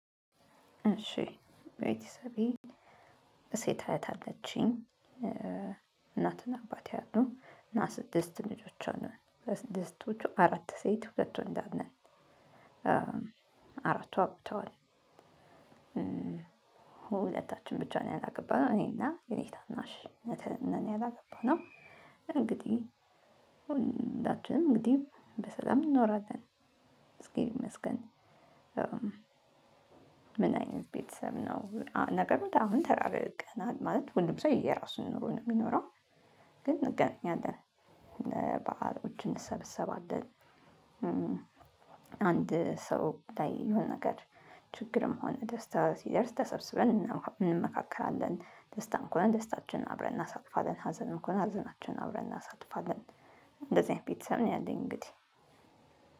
እሺ ቤተሰቤ ሴት አያት አለችኝ። እናትና አባቴ አሉ እና ስድስት ልጆች አለን ከስድስቶቹ አራት ሴት ሁለት ወንድ አለን። አራቱ አግብተዋል። ሁለታችን ብቻ ነው ያላገባነው እኔና የኔ ታናሽ ነን ያላገባነው። እንግዲህ ሁላችንም እንግዲህ በሰላም እንኖራለን እግዚአብሔር ይመስገን። ምን አይነት ቤተሰብ ነው ነገሩ? አሁን ተራርቀናል ማለት ሁሉም ሰው የየራሱን ኑሮ ነው የሚኖረው። ግን እንገናኛለን ለበዓሎች እንሰበሰባለን። አንድ ሰው ላይ የሆነ ነገር ችግርም ሆነ ደስታ ሲደርስ ተሰብስበን እንመካከራለን። ደስታም ከሆነ ደስታችንን አብረን እናሳልፋለን። ሀዘን ከሆነ ሀዘናችንን አብረን እናሳልፋለን። እንደዚህ አይነት ቤተሰብ ነው ያለኝ። እንግዲህ